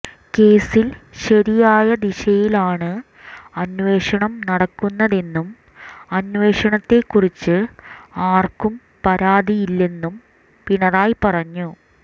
കേസിൽ ശരിയായ ദിശയിലാണ് അന്വേഷണം നടക്കുന്നതെന്നും അന്വേഷണത്തെക്കുറിച്ച് ആർക്കും പരാതിയില്ലെന്നും പിണറായി പറഞ്ഞു